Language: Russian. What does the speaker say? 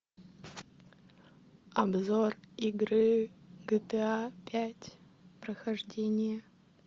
обзор игры гта пять прохождение